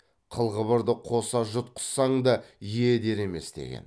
қыл қыбырды қоса жұтқызсаң да е е дер емес деген